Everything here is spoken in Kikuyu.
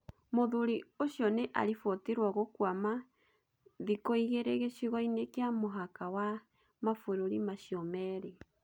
Mũthurĩ ũcio nĩ aribotirwo gũkwama thĩkũigĩrĩ gĩcigo-inĩ kĩa mũhaka wa mabũrũri macio merĩ.